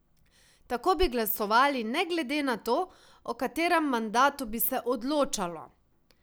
Tako bi glasovali ne glede na to, o katerem mandatu bi se odločalo.